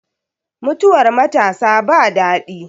Mutuwar matasa ba daɗi